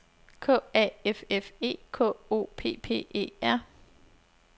K A F F E K O P P E R